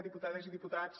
diputades i diputats